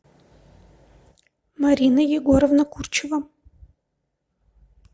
марина егоровна курчева